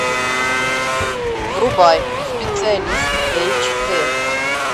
врубай специалист эйч дэ